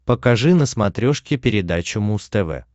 покажи на смотрешке передачу муз тв